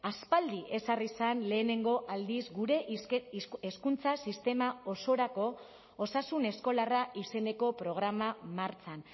aspaldi ezarri zen lehenengo aldiz gure hezkuntza sistema osorako osasun eskolarra izeneko programa martxan